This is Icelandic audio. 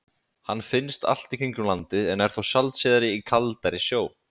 Hann finnst allt í kringum landið en er þó sjaldséðari í kaldari sjó.